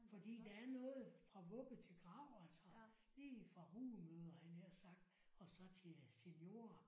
Fordi der er noget fra vugge til grav altså lige fra rugemødre havde jeg nær sagt og så til seniorer